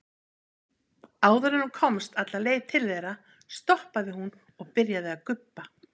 Áður en hún komst alla leið til þeirra stoppaði hún og byrjaði að gubba.